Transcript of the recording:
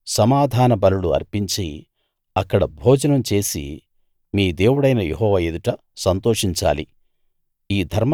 మీరు సమాధాన బలులు అర్పించి అక్కడ భోజనం చేసి మీ దేవుడైన యెహోవా ఎదుట సంతోషించాలి